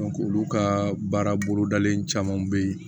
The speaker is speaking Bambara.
olu ka baara bolodalen caman bɛ yen